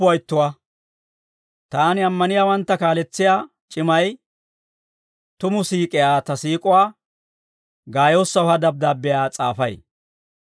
Taani ammaniyaawantta kaaletsiyaa c'imay, tumu siik'iyaa ta siik'uwaa Gaayoosaw ha dabddaabbiyaa s'aafay.